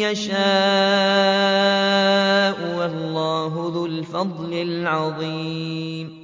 يَشَاءُ ۗ وَاللَّهُ ذُو الْفَضْلِ الْعَظِيمِ